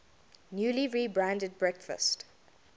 newly rebranded breakfast